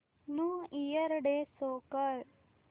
new year day show कर